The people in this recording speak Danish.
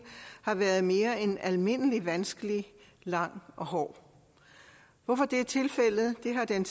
har været mere end almindelig vanskelig lang og hård hvorfor det er tilfældet har den